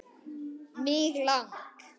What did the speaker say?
Mig lang